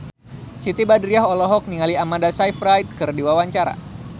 Siti Badriah olohok ningali Amanda Sayfried keur diwawancara